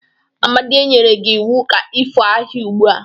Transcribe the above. Amadi, e nyere gi iwu ka ifo ahihia ugbo!